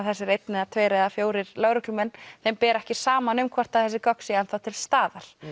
þessir einn eða tveir eða fjórir lögreglumenn þeim ber ekki saman um hvort þessi gögn séu enn þá til staðar